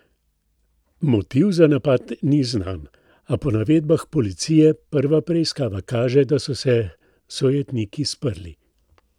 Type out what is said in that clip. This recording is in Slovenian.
Motiv za napad ni znan, a po navedbah policije prva preiskava kaže, da so se sojetniki sprli.